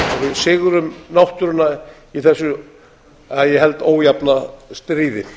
sigrum náttúruna í þessu að ég held ójafna stríði